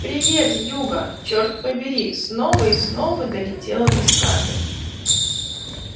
привет юга черт побери снова и снова долетало до скарлетт